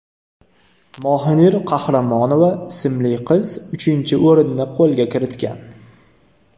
Mohinur Qahramonova ismli qiz uchinchi o‘rinni qo‘lga kiritgan.